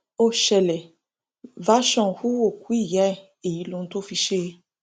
ó ṣẹlẹ version hu òkú ìyá ẹ èyí lóhun tó fi í ṣe